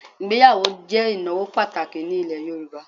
Ìgbéyàwó jẹ́ ìnáwó pàtàkì ní ilẹ̀ Yorùbá